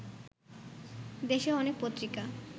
দেশে অনেক পত্রিকা